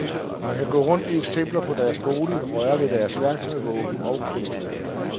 Man kan gå rundt i eksempler på deres boliger, røre ved deres værktøj, våben og kunstværker.